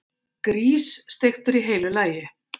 Grís, steiktur í heilu lagi!